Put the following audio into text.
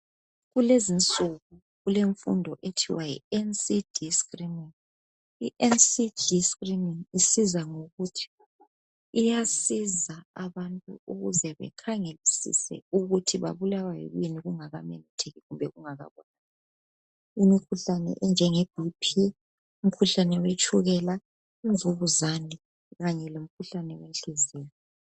Kulezinsuku kulemfundo ethiwa NCD screening. I NCD screening isiza ngokuthi, iyasiza abantu ukuze bakhangelisise ukuthi babulawa yikuyini kungamemetheki kumbe kungakabonakali imikhuhlane enje ngeBP, umkhuhlane wetshukela, imvukuzane kanye lomkhuhlane wenhliziyo.